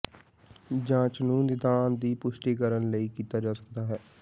ਜਾਂਚ ਨੂੰ ਨਿਦਾਨ ਦੀ ਪੁਸ਼ਟੀ ਕਰਨ ਲਈ ਕੀਤਾ ਜਾ ਸਕਦਾ ਹੈ